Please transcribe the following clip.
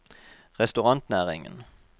restaurantnæringen